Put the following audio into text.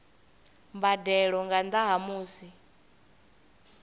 mbadelo nga nnda ha musi